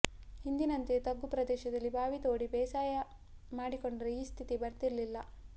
ಹಿಂದಿನಂತೆ ತಗ್ಗು ಪ್ರದೇಶದಲ್ಲಿ ಬಾವಿ ತೋಡಿ ಬೇಸಾಯ ಮಾಡಿಕೊಂಡಿದ್ರೆ ಈ ಸ್ಥಿತಿ ಬರ್ತಿರ್ಲಿಲ್ಲ